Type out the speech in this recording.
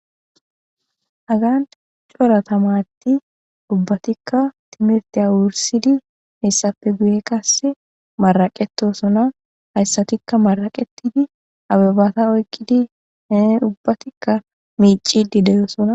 Hagan cora thamaarethi ubbathikka thimirththiya wurssidi heyssape guye qassi maraqeththoosona; hayssathikka maraqeththidi ababtha oyqqidi ubbathikka miicciiddi de7oosona.